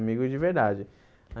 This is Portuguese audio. Amigos de verdade.